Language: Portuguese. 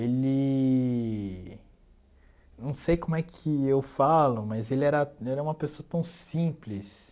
Ele, não sei como é que eu falo, mas ele era ele é uma pessoa tão simples,